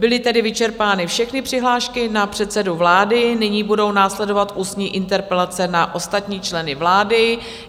Byly tedy vyčerpány všechny přihlášky na předsedu vlády, nyní budou následovat ústní interpelace na ostatní členy vlády.